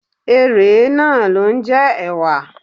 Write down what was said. Erèé náà ló ń jẹ́ ẹ̀wà